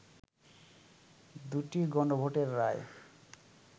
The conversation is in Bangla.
দু’টি গণভোটের রায়